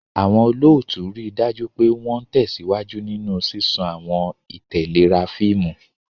Àwọn olóòtú rí i dájú pé wọ́n ń tẹ̀síwájú nínú ṣíṣàn àwọn ìtẹ̀léra fíìmù.